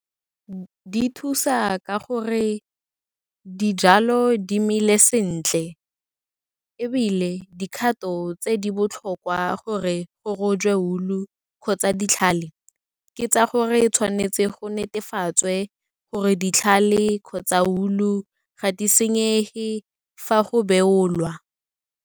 Di thusa ka gore dijalo di meele sentle, ebile dikgato tse di botlhokwa gore go tswe wool-u kgotsa ditlhale, ke tsa gore tshwanetse go netefatswe gore ditlhale kgotsa wool-u ga di senyege, fa go beolwa.